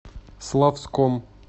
славском